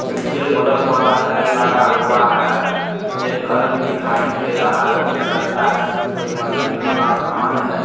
नीचे बल्ब वाला टाइल लगा हुआ है एक घर भी दिखाई दे रहा है उसमें लगता है कोई मशीन वाला समान है।